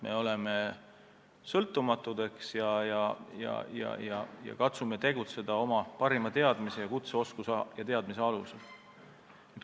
Me oleme sõltumatud ja katsume tegutseda oma parimate teadmiste ja kutseoskuste alusel.